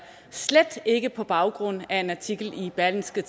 slet ikke på baggrund af en artikel i berlingske